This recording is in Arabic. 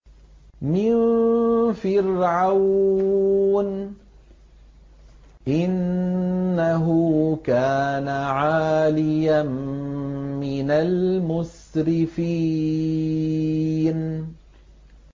مِن فِرْعَوْنَ ۚ إِنَّهُ كَانَ عَالِيًا مِّنَ الْمُسْرِفِينَ